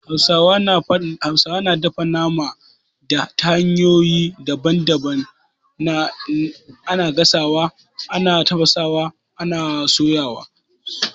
Hausawa na dafa nama ta hanyoyi daban daban, ana gasawa, ana tafasawa, ana Kuma soyawa